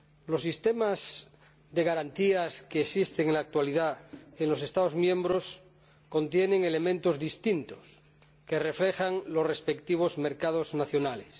Los sistemas de garantía que existen en la actualidad en los Estados miembros contienen elementos distintos que reflejan los respectivos mercados nacionales.